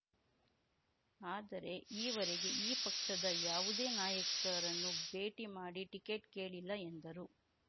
ಆದರೆ ಈವರೆಗೆ ಈ ಪಕ್ಷದ ಯಾವುದೇ ನಾಯಕರನ್ನು ಭೇಟಿ ಮಾ‌ಡಿ ಟಿಕೆಟ್ ಕೇಳಿಲ್ಲ ಎಂದರು